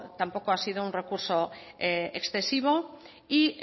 tampoco ha sido un recurso excesivo y